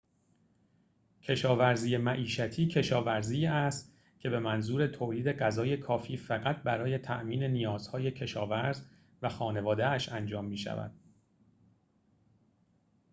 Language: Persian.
کشاورزی معیشتی کشاورزی است که به منظور تولید غذای کافی فقط برای تأمین نیازهای کشاورز و خانواده‌اش انجام می‌شود